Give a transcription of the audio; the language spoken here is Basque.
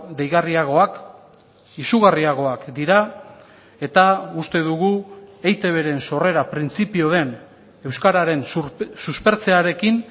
deigarriagoak izugarriagoak dira eta uste dugu eitbren sorrera printzipio den euskararen suspertzearekin